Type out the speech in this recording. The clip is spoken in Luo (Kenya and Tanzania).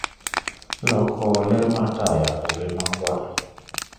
loko ler mar taya obed makwar